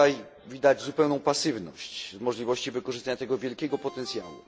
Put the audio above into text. Tutaj widać zupełną pasywność wobec możliwości wykorzystania tego wielkiego potencjału.